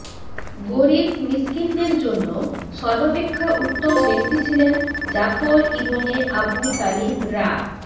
গরীব মিসকিনদের জন্য সর্বাপেক্ষা উত্তম ব্যক্তি ছিলেন জাফর ইবনে আবু তালিব রা